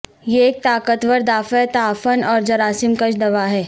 یہ ایک طاقتور دافع تعفن اور جراثیم کش دوا ہے